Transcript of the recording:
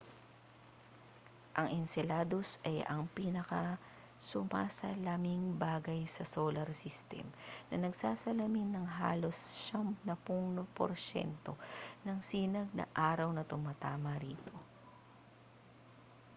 ang enceladus ay ang pinakasumasalaming bagay sa solar system na nagsasalamin ng halos 90 porsyento ng sinag ng araw na tumatama rito